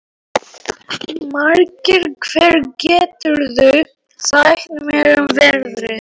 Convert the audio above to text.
Margeir, hvað geturðu sagt mér um veðrið?